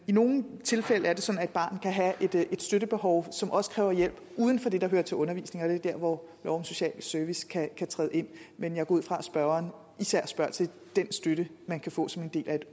i nogle tilfælde er det sådan at et barn kan have et støttebehov som også kræver hjælp uden for det der hører til undervisningen er der hvor lov om social service kan træde ind men jeg går ud fra at spørgeren især spørger til den støtte man kan få som en del af